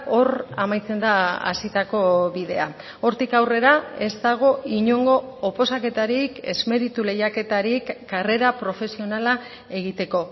hor amaitzen da hasitako bidea hortik aurrera ez dago inongo oposaketarik ez meritu lehiaketarik karrera profesionala egiteko